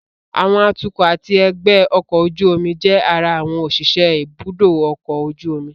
Àwọn atukọ̀ àti ẹgbẹ́ ọkọ̀ ojú omi jẹ́ ara àwọn òṣìṣẹ́ ibùdó ọkọ̀ ojú omi